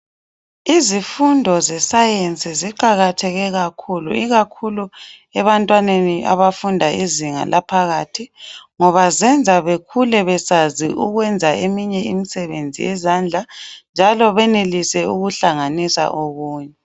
izifundo ze science ziqakatheke kakhulu ikakhulu ebantwaneni abafunda izinga laphakathi nonba zenza bekhule bekwazi ukwenza eminye imisebenzi yezandla njalo benelise ukuhlanganisa okunye